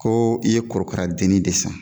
Koo i ye korokaradenni de san